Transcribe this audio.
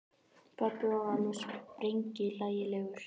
Pabbi var alveg sprenghlægilegur.